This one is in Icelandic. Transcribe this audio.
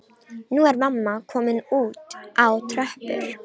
Nú er mamma komin út á tröppur.